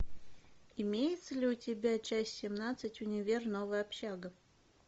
имеется ли у тебя часть семнадцать универ новая общага